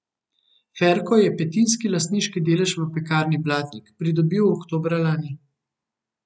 Ferko je petinski lastniški delež v Pekarni Blatnik pridobil oktobra lani.